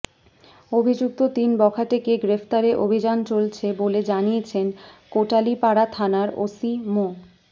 অভিযুক্ত তিন বখাটেকে গ্রেপ্তারে অভিযান চলছে বলে জানিয়েছেন কোটালীপাড়া থানার ওসি মো